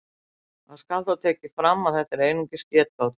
Það skal þó tekið fram að þetta eru einungis getgátur.